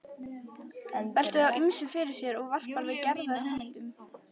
Veltir þá ýmsu fyrir sér og varpar til Gerðar hugmyndum.